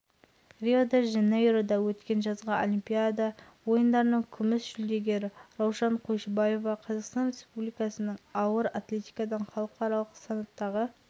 ойындарына қатысушы нұрмахан тінәлиев қазақстан республикасының пауэрлифтингтен еңбек сіңірген спорт шебері әлем және азия чемпионы